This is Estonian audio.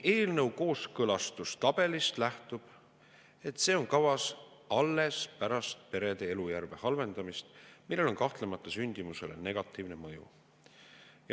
Eelnõu kooskõlastustabelist nähtub, et see on kavas alles pärast perede elujärje halvendamist, millel on kahtlemata sündimusele negatiivne mõju.